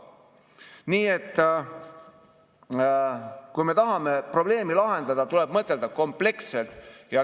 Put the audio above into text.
Nii et kui me tahame probleemi lahendada, tuleb mõtelda kompleksselt.